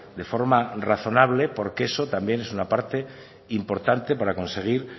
de forma razonable porque eso también es una parte importante para conseguir